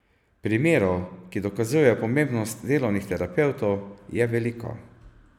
Primerov, ki dokazujejo pomembnost delovnih terapevtov, je veliko.